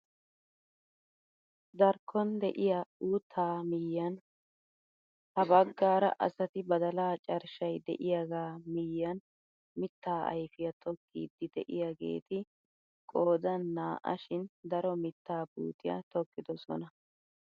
Darkkon de'iyaa uuttaa miyiyaan ha baggaara asati badalaa carshshay de'iyaagaa miyiyaan mittaa ayfiyaa tokkiidi de'iyaageti qoodan naa"a shin daro mittaa puutiyaa tokkidosona!